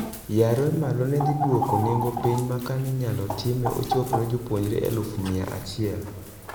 Yare malo nedhi dwuoko nengo piny ma kaninyalo time ochopne jopuonjre eluf mia achiel